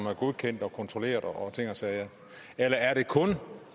er godkendt og kontrolleret og ting og sager eller er det kun